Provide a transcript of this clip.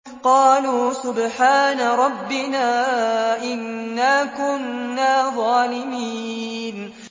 قَالُوا سُبْحَانَ رَبِّنَا إِنَّا كُنَّا ظَالِمِينَ